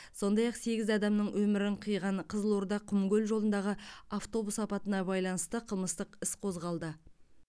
сондай ақ сегіз адамның өмірін қиған қызылорда құмкөл жолындағы автобус апатына байланысты қылмыстық іс қозғалды